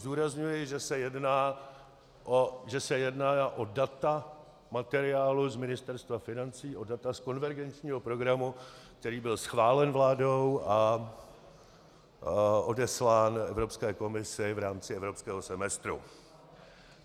Zdůrazňuji, že se jedná o data materiálu z Ministerstva financí, o data z konvergenčního programu, který byl schválen vládou a odeslán Evropské komisi v rámci evropského semestru.